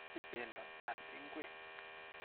Ameche bendo al ngwek.